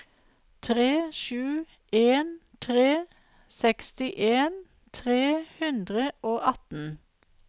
tre sju en tre sekstien tre hundre og atten